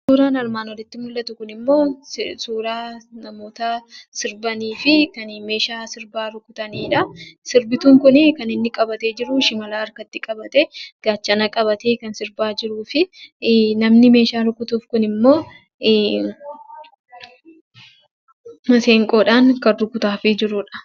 Suuraan armaan olitti mul'atu immoo suuraa namoota sirbaniifi kan meeshaa sirbaa rukutaniidhaa. Sirbituun Kun kan inni qabatee jiru shimala harkatti qabatee, gaachana qabatee kan sirbaa jiruu fi namni meeshaa rukutu kun immoo masiinqoodhaan kan rukutaafii jirudha.